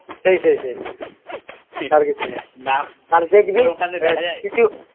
সেই সেই সেই আর কিছু নাা